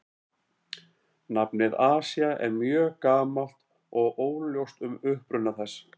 Nafnið Asía er mjög gamalt og óljóst um uppruna þess.